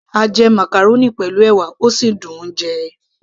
a jẹ màcàrónì pẹ̀lú ẹ̀wà, ó sì dùn -un jẹ